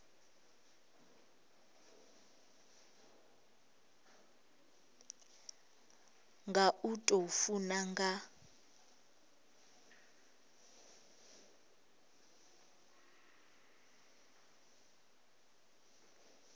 nga u tou funa nga